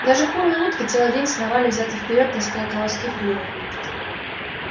даже куры и утки целый день сновали взад и вперёд таская колоски в клювах